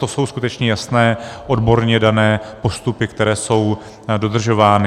To jsou skutečně jasné odborně dané postupy, které jsou dodržovány.